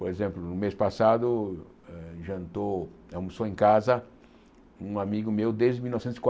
Por exemplo, no mês passado, eh jantou almoçou em casa um amigo meu desde mil novecentos e